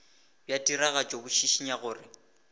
bja tiragatšo bo šišinya gore